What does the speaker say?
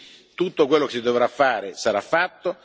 Quindi tutto quello che si dovrà fare sarà fatto.